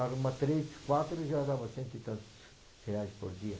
Arruma três, quatro e já dava cento e tantos reais por dia.